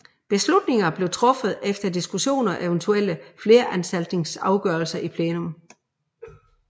Beslutninger blev truffet efter diskussioner og eventuelle flertalsafgørelser i plenum